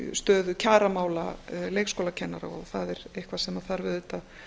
stöðu kjaramála leikskólakennara og það er eitthvað sem þarf auðvitað